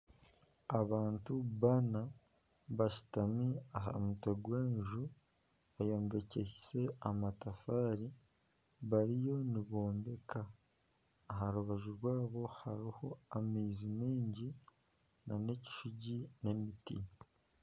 Abantu baana bashutami aha mutwe gw'enju, eyombekiise amatafaari bariyo nibombeka, aha rubaju rwabo hariyo amaizi mingi nana ekishugi n'emiti